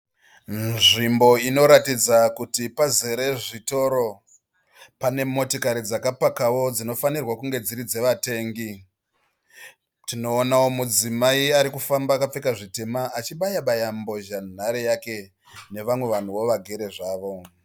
Munzvimbo inoratidza kuti pazere zvitoro pane motikari dzakapakawo dzinofanirwa kunge dziri dzevatengi. Tinoonawo mudzimai ari kufamba akapfeka zvitema achibaya baya mbozhanhare yake nevamwe vanhuwo vagere zvavo.